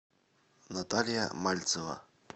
наталья мальцева